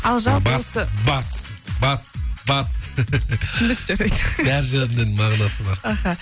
ал жалпы осы бас бас бас бас түсіндік жарайды бар жерінде мағынасы бар аха